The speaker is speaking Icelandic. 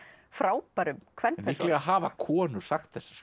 frábærum kvenpersónum líklega hafa konur sagt þessar